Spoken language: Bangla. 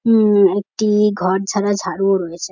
উম একটি-ই ঘর ঝারা ঝাড়ুও রয়েছে।